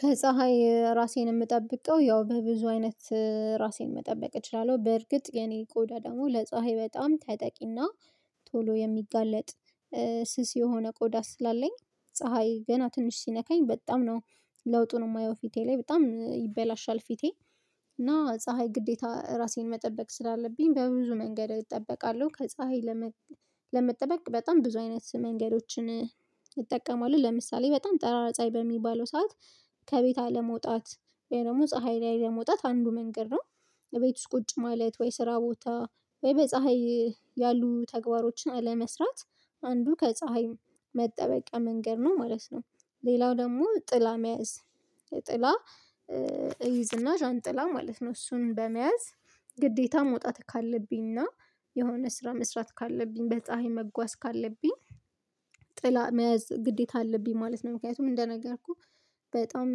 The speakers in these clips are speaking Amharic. ከፀሀይ ራሴን የምጠብቀው ያው በብዙ አይነት ራሴን መጠበቅ እችላለሁ። በእርግጥ የኔ ቆዳ ደግሞ ለፀሀይ በጣም ተጠቂና ቶሎ የሚጋለጥ። ስስ የሆነ ቆዳ ስላለኝ ፀሀይ ገና ትንሽ ሲነካኝ በጣም ነው ለውጡን የማየው ፊቴ ላይ በጣም ይበላሻል ፊቴ እና ፀሀይ ግዴታ እራሴን መጠበቅ ስላለብኝ በብዙ መንገድ እጠበቃለሁ ከፀሀይ። ለመጠበቅ በጣም ብዙ አይነት መንገዶችን እጠቀማሁ ለምሳሌ በጣም ጠራራ ፀሀይ በሚባለው ሰዓት። ከቤት አለመውጣት ወይ ደግሞ ፀሀይ ላይ ለመውጣት አንዱ መንገድ ነው። እቤት ውስጥ ቁጭ ማለት ወይ ስራ ቦታ ወይ በፀሀይ ያሉ ተግባሮችን አለመስራት አንዱ ከፀሀይ መጠበቂያ መንገድ ነው ማለት ነው። ሌላው ደግሞ ጥላ መያዝ ጥላ እይዝና ዣንጥላ ማለት ነው። እሱን በመያዝ ግዴታ መውጣት ካለብኝና የሆነ ስራ መስራት ካለብኝ በፀሀይ መጓዝ ካለብኝ ጥላ መያዝ ግዴታ አለብኝ ማለት ነው። ምክንያቱም እንደነገርኩህ በጣም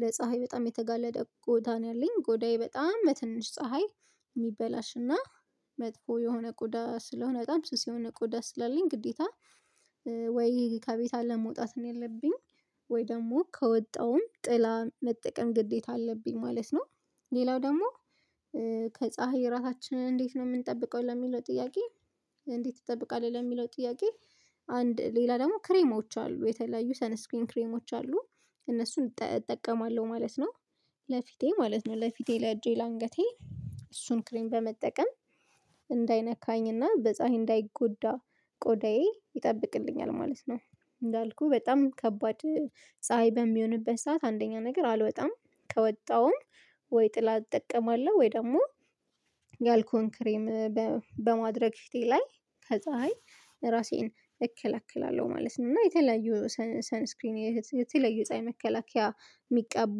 ለፀሀይ በጣም የተጋለደ ቆዳ ነው ያለኝ ቆዳዬ በጣም በትንሽ ፀሀይ የሚበላሽና መጥፎ የሆነ ቆዳ ስለሆነ በጣም ስስ የሆነ ቆዳ ስላለኝ ግዴታ። ወይ ከቤት አለ መውጣት ነው ያለብኝ ወይ ደግሞ ከወጣውም ጥላ መጠቀም ግዴታ አለብኝ ማለት ነው። ሌላው ደግሞ ከፀሀይ ራሳችንን እንዴት ነው የምንጠብቀው ለሚለው ጥያቄ እንዴት ይጠብቃል ለሚለው ጥያቄ? አንድ ሌላ ደግሞ ክሬሞች አሉ የተለያዩ ሰነስክሪን ክሬሞች አሉ እነሱን እጠቀማለሁ ማለት ነው። ለፊቴ ማለት ነው ለፊቴ ለእጄ ለአንገቴ እሱን ክሬም በመጠቀም እንዳይነካኝና በፀሀይ እንዳይጎዳ ቆዳዬ ይጠብቅልኛል ማለት ነው። እንዳልኩህ በጣም ከባድ ፀሀይ በሚሆንበት ሰዓት አንደኛ ነገር አልወጣም ከወጣሁም ወይ ጥላ እጠቀማለሁ ወይ ደግሞ ያልኩህን ክሬም በማድረግ ሽቴ ላይ ከፀሀይ ራሴን እከለክላለሁ ማለት ነው። እና የተለያዩ ሰን ስክሪን የተለያዩ ፀሀይ መከላከያ የሚቃቡ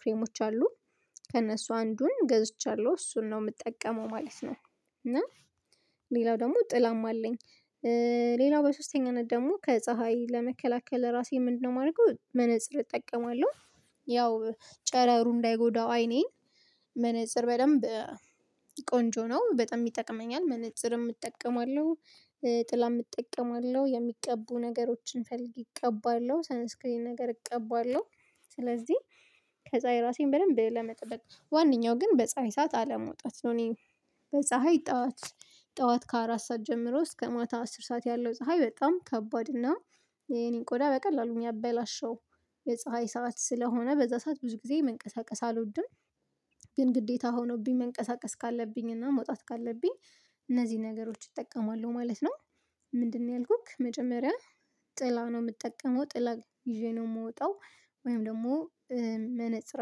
ክሬሞች አሉ ከእነሱ አንዱን ገዝቻለሁ እሱን ነው የምጠቀመው ማለት ነው። እና ሌላው ደግሞ ጥላም አለኝ። ሌላው በሶስተኛነት ደግሞ ከፀሀይ ለመከላከል ራሴ ምንድነው የማደርገው መነፅር እጠቀማለሁ። ያው ጨረሩ እንዳይጎዳው አይኔን መነፅር በደንብ ቆንጆ ነው በጣም ይጠቅመኛል መነጽርም እጠቀማለሁ። ጥላም እጠቀማለሁ የሚቀቡ ነገሮችን ፈልገ እቀባለሁ ሰንስክሪን ነገር እቀባለሁ። ስለዚህ ከፀሀይ ራሴን በደንብ ለመጠበቅ ዋነኛው ግን በፀሀይ ሰዓት አለመውጣት ነው። እኔ በፀሀይ ጠዋት ጠዋት ከአራት ሰዓት ጀምሮ እስከ ማታ አስር ሰዓት ያለው ፀሀይ በጣም ከባድ እና የኔን ቆዳ በቀላሉ የሚያበላሸው የፀሀይ ሰዓት ስለሆነ በዛ ሰዓት ብዙ ጊዜ መንቀሳቀስ አልወድም። ግን ግዴታ ሆኖብኝ መንቀሳቀስ ካለብኝ እና መውጣት ካለብኝ እነዚህን ነገሮች እጠቀማለሁ ማለት ነው። ምንድነው ያልኩክ መጀመሪያ ጥላ ነው የምጠቀመው ጥላ ይዤ ነው የምወጣው ወይም ደግሞ መነፅር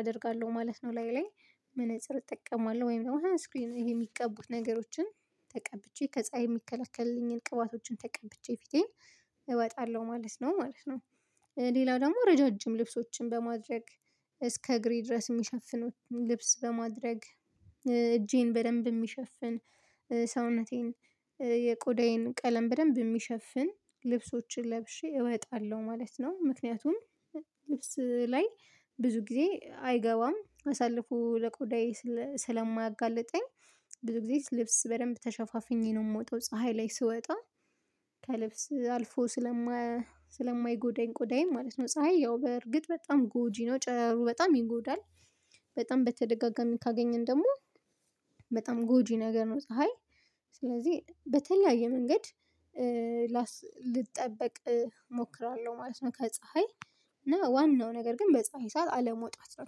አደርጋለሁ ማለት ነው። ላይ መነፅር እጠቀማለሁ ወይም ደግሞ ሰን ስክሪን ይሄ የሚቀቡት ነገሮችን ተቀብቼ ከፀሀይ የሚከለክልኝን ቅባቶችን ተቀብቼ ፊቴን እወጣለሁ ማለት ነው ማለት ነው። ሌላ ደግሞ ረዣዥም ልብሶችን በማድረግ እስከ እግሬ ድረስ የሚሸፍኑት ልብስ በማድረግ እጄን በደንብ የሚሸፍን ሰውነቴን የቆዳዬን ቀለም በደንብ የሚሸፍን ልብሶችን ለብሼ እወጣለሁ ማለት ነው። ምክንያቱም ልብስ ላይ ብዙ ጊዜ አይገባም አሳልፎ ለቆዳዬ ስለማያጋልጠኝ ብዙ ጊዜ ልብስ በደንብ ተሸፋፍኜ ነው የምወጣው ፀሀይ ላይ ስወጣ ከልብስ አልፎ ስለማ ስለማይጎዳኝ ቆዳዬን ማለት ነው። ፀሀይ ያው በእርግጥ በጣም ጎጂ ነው ጨረሩ በጣም ይጎዳል በጣም በተደጋጋሚ ካገኘን ደግሞ በጣም ጎጂ ነገር ነው። ፀሀይ ስለዚህ በተለያየ መንገድ ላስ ልጠበቅ እሞክራለሁ ማለት ነው። ከፀሀይ እና ዋናው ነገር ግን በፀሀይ ሰዓት አለመውጣት ነው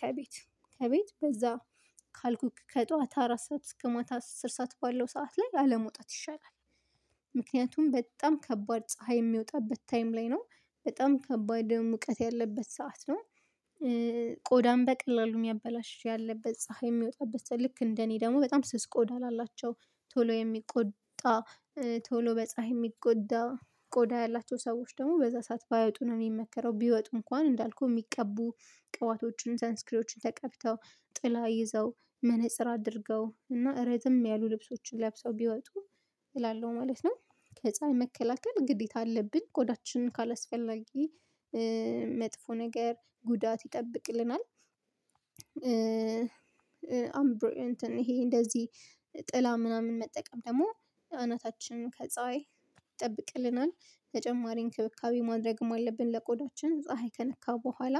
ከቤት ከቤት በዛ ካልኩክ ከጧት አራት ሰዓት እስከ ማታ አስር ሰዓት ባለው ሰዓት ላይ አለመውጣት ይሻላል። ምክንያቱም በጣም ከባድ ፀሀይ የሚወጣበት ታይም ላይ ነው በጣም ከባድ ሙቀት ያለበት ሰዓት ነው። ቆዳም በቀላሉ የሚያበላሽሽ ያለበት ፀሀይ የሚወጣበት ልክ እንደ እኔ ደግሞ በጣም ስስ ቆዳ ላላቸው ቶሎ የሚቆጣ ቶሎ በፀሀይ የሚጎዳ ቆዳ ያላቸው ሰዎች ደግሞ በዛ ሰዓት ባይወጡ ነው የሚመከረው ቢወጡ እንኳን እንዳልኩህ የሚቀቡ ቅባቶቹን ሰን ስክሪዎችን ተቀብተው ጥላ ይዘው መነፅር አድርገው እና ረዘም ያሉ ልብሶችን ለብሰው ቢወጡ እላለሁ ማለት ነው። ከፀሀይ መከላከል ግዴታ አለብኝ ጎዳችንን ካላስፈላጊ መጥፎ ነገር ጉዳት ይጠብቅልናል አምብሮ እንትን ይሄ እንደዚህ ጥላ ምናምን መጠቀም ደግሞ አናታችንን ከፀሀይ ይጠብቅልናል። ተጨማሪ እንክብካቤ ማድረግም አለብን ለቆዳችን ፀሀይ ከነካ በኋላ